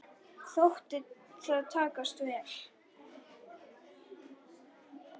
Þótti það takast vel.